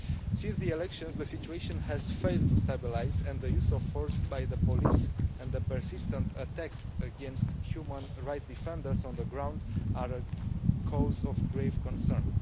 Since the elections, the situation has failed to stabilise and the use of force by the police and the persistent attacks against human rights defenders on the ground are a cause for grave concern.